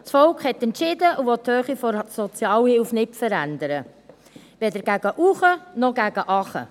Das Volk hat entschieden und will die Höhe der Sozialhilfe nicht verändern, weder gegen oben noch gegen unten.